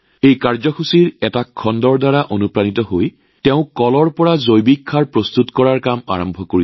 এই অনুষ্ঠানৰ এটা খণ্ডৰ দ্বাৰা অনুপ্ৰাণিত হৈ তেওঁ কলৰ পৰা জৈৱিক সাৰ তৈয়াৰ কৰাৰ কাম আৰম্ভ কৰে